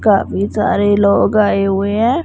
काफी सारे लोग आए हुए हैं।